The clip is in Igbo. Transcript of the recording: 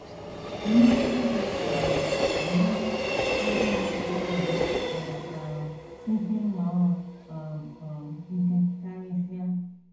Mmetụta gị um gụnyere agụụ mmekọahụ pụrụ um isi nnọọ um um ike karịsịa.